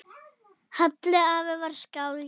Halli afi var skáld.